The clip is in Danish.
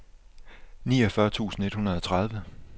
niogfyrre tusind et hundrede og tredive